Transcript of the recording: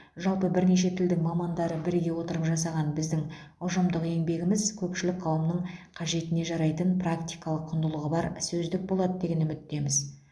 жалпы бірнеше тілдің мамандары біріге отырып жасаған біздің ұжымдық еңбегіміз көпшілік қауымның қажетіне жарайтын практикалық құндылығы бар сөздік болады деген үміттеміз